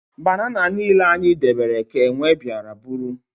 Banana niile anyị debere ka enwe bịara bụrụ